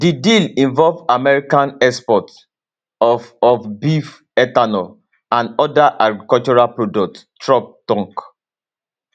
di deal involve american exports of of beef ethanol and oda agricultural products trump tok